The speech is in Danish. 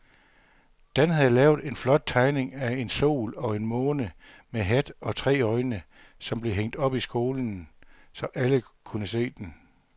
Dan havde lavet en flot tegning af en sol og en måne med hat og tre øjne, som blev hængt op i skolen, så alle kunne se den.